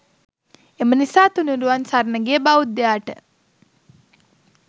එම නිසා තුණුරුවන් සරණ ගිය බෞද්ධයාට